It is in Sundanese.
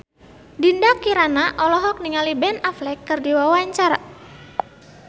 Dinda Kirana olohok ningali Ben Affleck keur diwawancara